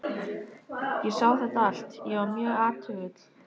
Ég sá þetta allt- ég var mjög athugull.